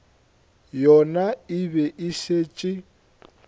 yona e be e šetše